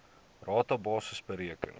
rata basis bereken